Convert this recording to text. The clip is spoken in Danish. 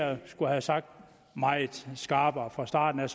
jeg skulle have sagt meget skarpere fra starten